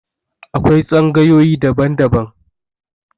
Akwai tsangayoyi daban -daban